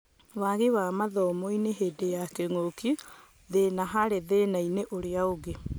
Waagi mathomo-inĩ hĩndĩ ya kĩng'ũki: Thĩna harĩ thĩnainĩ ũrĩa ũngĩ.